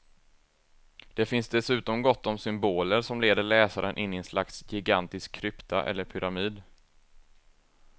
Det finns dessutom gott om symboler som leder läsaren in i en slags gigantisk krypta eller pyramid.